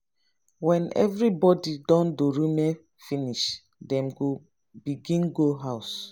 wen evribody don dorime finish dem go begin go house